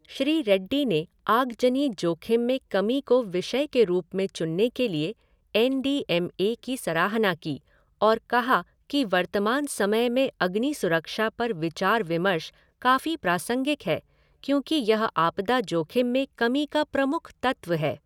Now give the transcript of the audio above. श्री रेड्डी ने आगजनी जोखिम में कमी को विषय के रूप में चुनने के लिए एन डी एम ए की सराहना की और कहा कि वर्तमान समय में अग्नि सुरक्षा पर विचार विमर्श काफी प्रासंगिक है क्योंकि यह आपदा जोखिम में कमी का प्रमुख तत्व है।